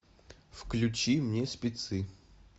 включи мне спецы